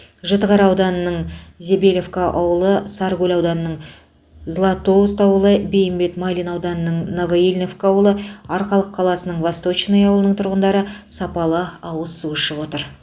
жітіқара ауданының забелевка ауылы сарыкөл ауданының златоуст ауылы бейімбет майлин ауданының новоильиновка ауылы арқалық қаласының восточное ауылының тұрғындары сапалы ауыз су ішіп отыр